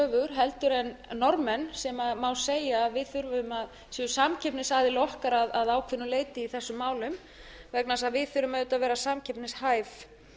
heldur en norðmenn sem má segja að við séum samkeppnisaðilar okkar að ákveðnu leyti í þessum málum egna þess að við þurfum auðvitað að vera samkeppnishæf